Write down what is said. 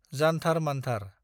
जान्थार मान्थार